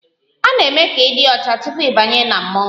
A na-eme ka ị dị ọcha tupu ị banye na mmọnwụ?